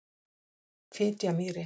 Fitjamýri